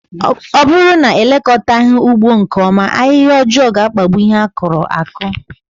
Ọ bụrụ na elekọtaghi ugbo nke ọma, ahịhịa ọjọọ ga-akpagbụ ihe akuru aku